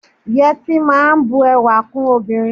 Yẹtí máa n bù ẹwà kún obìnrin.